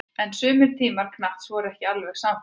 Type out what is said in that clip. En sumir samtímamenn Kants voru ekki alveg sannfærðir.